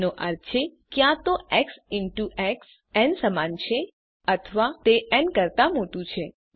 જેનો અર્થ છે ક્યાં તો એક્સ ઇન ટુ એક્સ ન સમાન છે અથવા તે ન કરતા મોટું છે